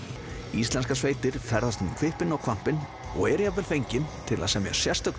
íslenskar sveitir ferðast um hvippinn og hvappinn og eru jafnvel fengin til að semja sérstök